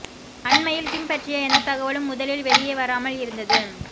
அண்மையில் கிம் பற்றிய எந்த தகவலும் முதலில் வெளியே வராமல் இருந்தது